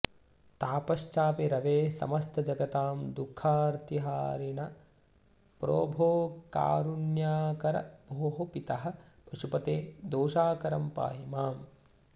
तापश्चापि रवेः समस्तजगतां दुःखार्तिहारिन प्रोभो कारुण्याकर भोः पितः पशुपते दोषाकरं पाहि माम्